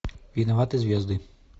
виноваты звезды